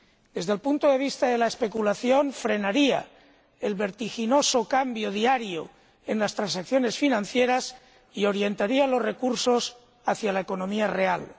Desde el punto de vista de la especulación, frenaría el vertiginoso cambio diario en las transacciones financieras y orientaría los recursos hacia la economía real.